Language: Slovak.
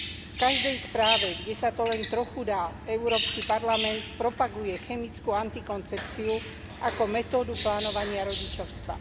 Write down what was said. V každej správe, kde sa to len trochu dá, Európsky parlament propaguje chemickú antikoncepciu ako metódu plánovania rodičovstva.